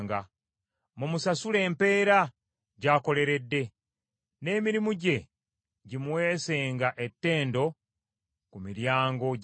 Mumusasule empeera gy’akoleredde, n’emirimu gye gimuweesenga ettendo ku miryango gy’ekibuga.